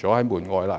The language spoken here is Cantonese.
諸門外呢？